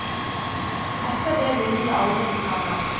Etter det ble livet aldri det samme.